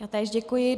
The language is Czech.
Já též děkuji.